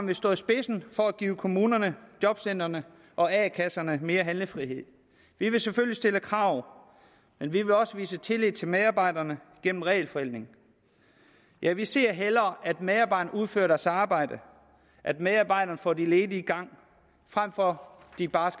vil stå i spidsen for at give kommunerne jobcentrene og a kasserne mere handlefrihed vi vil selvfølgelig stille krav men vi vil også vise tillid til medarbejderne gennem regelforenkling ja vi ser hellere at medarbejderne udfører deres arbejde at medarbejderne får de ledige i gang frem for at de bare